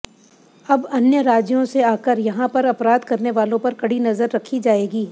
अब अन्य राज्यों से आकर यहां पर अपराध करने वालों पर कड़ी नजर रखी जाएगी